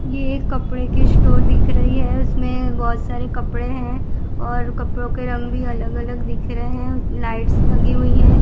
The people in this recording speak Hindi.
यह कपड़े की स्टोर दिख रही है उसमें बहोत सारे कपड़े हैं और कपड़ों के रंग भी अलग अलग दिख रहे हैं लाइट्स लगी हुई है।